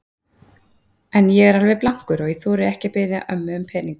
En ég er alveg blankur og ég þori ekki að biðja ömmu um pening.